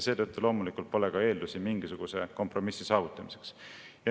Seetõttu loomulikult pole ka eeldusi mingisuguse kompromissi saavutamiseks.